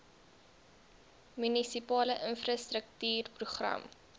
munisipale infrastruktuur program